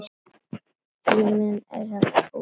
Tíminn er búinn kallaði Magga.